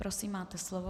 Prosím, máte slovo.